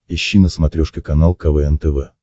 ищи на смотрешке канал квн тв